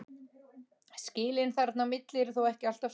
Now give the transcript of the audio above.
Skilin þarna á milli eru þó ekki alltaf skörp.